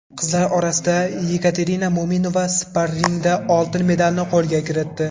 Qizlar orasida Yekaterina Mo‘minova sparringda oltin medalni qo‘lga kiritdi.